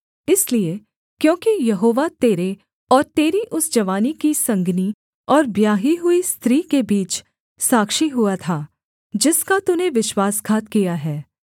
इसलिए क्योंकि यहोवा तेरे और तेरी उस जवानी की संगिनी और ब्याही हुई स्त्री के बीच साक्षी हुआ था जिसका तूने विश्वासघात किया है